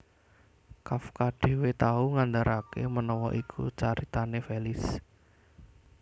Kafka dhéwé tau ngandharaké menawa iku caritané Felice